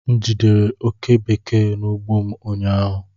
M jidere oke bekee n'ugbo m ụnyaahụ